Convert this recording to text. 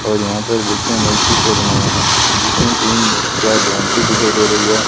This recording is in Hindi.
और यहां पर बच्चों ने एक चित्र बनाया है जिसमें तीन चार झोपड़ी दिखाई दे रही हैं।